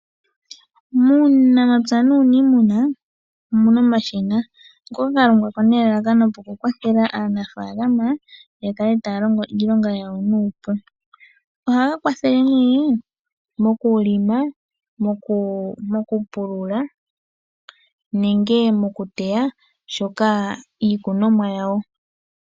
Muunamapya nuunimuna omuna omashina, ngoka ga longwa po nelalakano oku kwathela aanafaalama ya kale taya loko iilonga yawo nuupu. Ohaga kwathele nee mokulonga, mokupulula nenge mokuteya shoka iikunomwa yawo.